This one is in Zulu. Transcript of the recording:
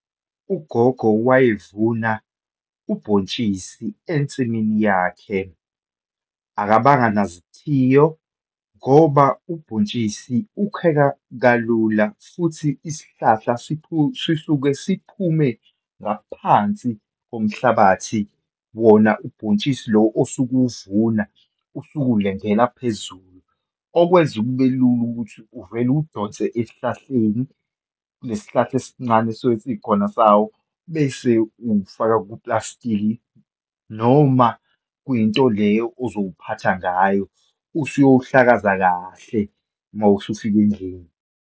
UGogo wayevuna ubhontshisi ensimini yakhe. Akabanga nazithiyo ngoba ubhontshisi ukheka kalula, futhi isihlahla sisuke siphume ngaphansi komhlabathi, wona ubhontshisi lo osuke uwuvuna usuke ulangela phezulu, okwenza kube lula ukuthi uvele uwudonse esihlahleni, kulesi sihlahla esincane esisuke sikhona sawo, bese uwufaka kupulasitiki, noma kwinto le ozowuphatha ngayo, usuyowuhlakaza kahle uma sewufika endlini.